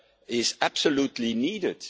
is absolutely needed.